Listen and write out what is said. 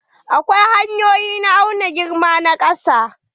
Akwai hanyoyi na auna girma na ƙasa.